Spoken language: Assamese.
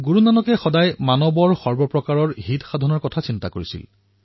গুৰু নানক দেৱজীয়ে সৰ্বদা সমগ্ৰ মানৱতাৰ কল্যাণৰ বিষয়ে চিন্তা কৰিছিল